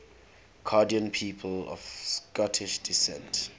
canadian people of scottish descent